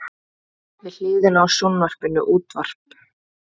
Við hliðina á sjónvarpinu útvarp.